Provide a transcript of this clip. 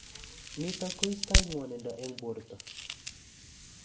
Nitok koistai ng'wanindo eng borto